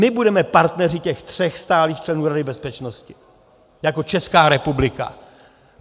My budeme partneři těch tří stálých členů Rady bezpečnosti jako Česká republika.